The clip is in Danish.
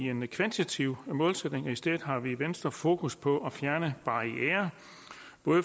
en kvantitativ målsætning i stedet har vi i venstre fokus på at fjerne barrierer